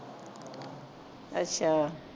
ਅਛਾ